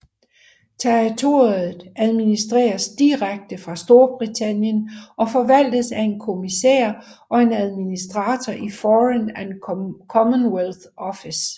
Territoriet administreres direkte fra Storbritannien og forvaltes af en kommissær og en administrator i Foreign and Commonwealth Office